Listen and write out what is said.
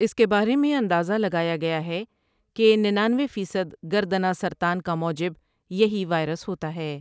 اس کے بارے میں اندازہ لگایا گیا ہے کہ ننانوے فیصد گردنہ سرطان کا موجب یہی وائرس ہوتا ہے۔